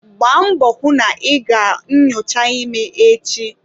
Gbaa mbọ hụ na ị ga nnyocha ime echi!